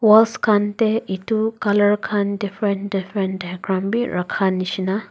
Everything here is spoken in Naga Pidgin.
walls khan tae edu colour khan different different bi rakha nishina.